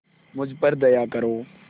मुझ पर दया करो